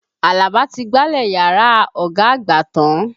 Àlàbà ti gbálẹ̀ yàrá ọ̀gá àgbà tán.